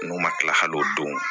N'u ma kila kal'o don